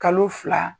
Kalo fila